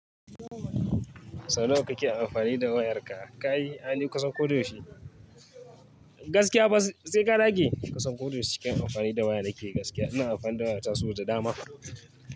Sau nawa kake amfani da wayarka? Kai aini kusan ko da yaushe. Gaskiya fa sai ka dage. Kasan ko da yaushe cikin amfani da waya da ke gaskiya. Ina amfani da waya ta so da dama.